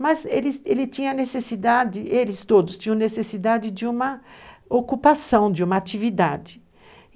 Mas eles, ele tinha necessidade, eles todos tinham necessidade de uma ocupação, de uma atividade.